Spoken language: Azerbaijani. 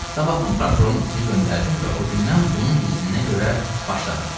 Sabahdan prokurorun itini göndərdim və o gündən bunun izninə görə başladım.